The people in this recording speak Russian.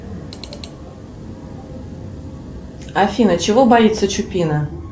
афина чего боится чупина